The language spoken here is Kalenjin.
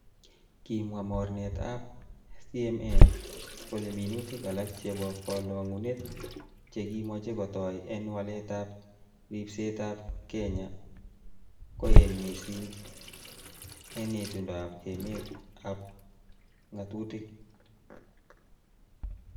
Kimwa mornetab CMA, kole minutik alak che bo kolongunet che kimoche ketoi en waletab ribsetab kenya koen missing en itondab emet ab ngatutik.